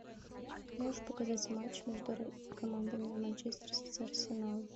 можешь показать матч между командами манчестер сити арсенал